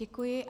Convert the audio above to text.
Děkuji.